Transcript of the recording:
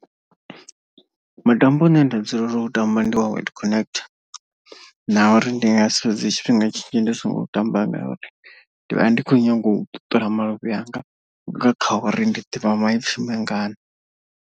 Mutambo une nda dzulela u ṱamba ndi wa word connect na uri ndi nga si fhedze tshifhinga tshinzhi ndi songo ṱamba. Ngauri ndi vha ndi khou nyanga u ṱuṱula maluvhi anga nga kha uri ndi ḓivha maipfi mangana.